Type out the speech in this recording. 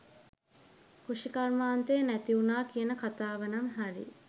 කෘෂිකර්මාන්තය නැතිවුනා කියන කතාවනම් හරි.